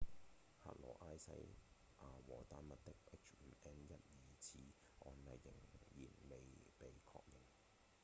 克羅埃西亞和丹麥的 h5n1 疑似案例依然未被確認